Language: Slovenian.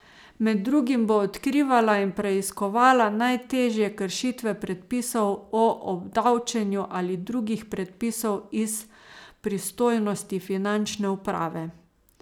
Med drugim bo odkrivala in preiskovala najtežje kršitve predpisov o obdavčenju ali drugih predpisov iz pristojnosti finančne uprave.